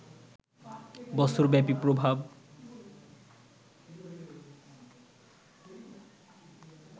বছরব্যাপী প্রভাব